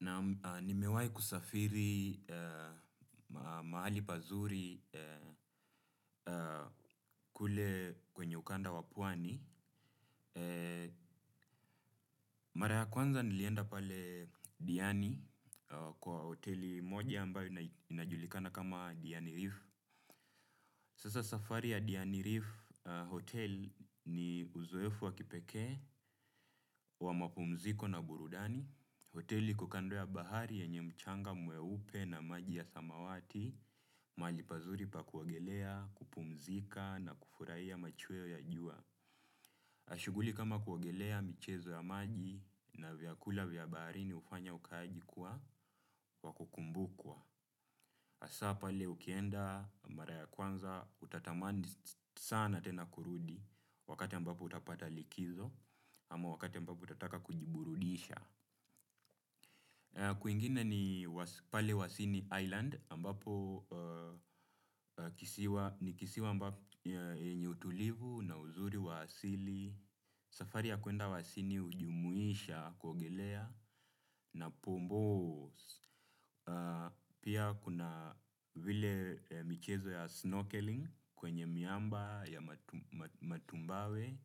Naam nimewai kusafiri mahali pazuri. Kule kwenye ukanda wa Pwani. Mara ya kwanza nilienda pale Diani, kwa hoteli moja ambayo inajulikana kama Diani Reef. Sasa safari ya Diani Reef hotel ni uzoefu waki pekee wa mapumziko na burudani. Hoteli iko kando ya bahari yenye mchanga mweupe na maji ya samawati, malipazuri pa kuogelea, kupumzika na kufurahia machweo ya jua. Na shuguhli kama kuogelea michezo ya maji na vyakula vya baharini hufanya ukaaji kuwa wakukumbukwa. Hasaa pale ukienda mara ya kwanza utatamani sana tena kurudi wakati ambapo utapata likizo ama wakati ambapo utataka kujiburudisha. Kwingine ni pale Wasini Island ambapo ni kisiwa yenye utulivu na uzuri wa asili, safari ya kuenda wasini hujumuisha kuogelea na pombo, pia, kuna vile michezo ya snorkeling, kwenye miamba ya matumbawe